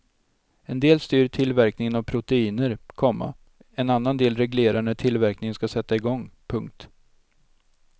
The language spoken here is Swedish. En del styr tillverkningen av proteiner, komma en annan del reglerar när tillverkningen ska sätta igång. punkt